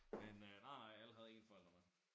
Men øh nej nej alle havde én forældre med